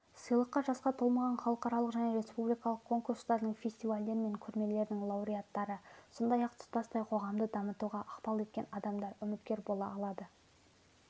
сыйлыққа жасқа толмаған халықаралық және республикалық конкурстардың фестивальдер мен көрмелердің лауреаттары сондай-ақ тұтастай қоғамды дамытуға ықпал еткен адамдар үміткер бола алады